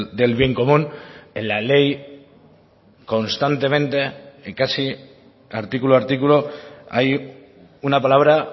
del bien común en la ley constantemente y casi artículo a artículo hay una palabra